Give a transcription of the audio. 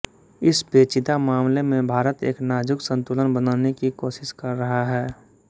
इस पेचीदा मामले में भारत एक नाजुक संतुलन बनाने की कोशिश कर रहा है